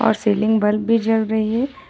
और ceiling bulb भी जल रही है।